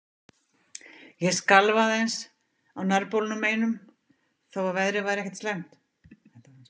Ég skalf aðeins, á nærbolnum einum, þó að veðrið væri ekkert slæmt.